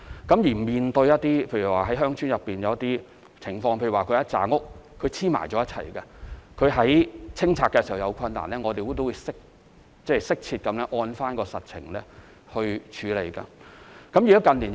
在面對鄉村內的一些情況時，例如數幢房屋連着興建，在清拆僭建物時有困難，我們都會適切按照實情而作出處理。